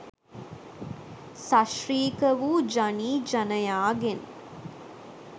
සශ්‍රීක වු ජනී ජනයාගෙන්